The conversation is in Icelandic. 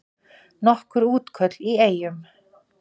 Nokkur útköll í Eyjum